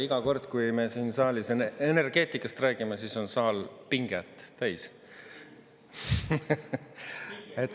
Iga kord, kui me siin saalis energeetikast räägime, siis on saal pinget täis.